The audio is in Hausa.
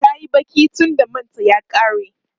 tayi Baki tunda manta ya ƙare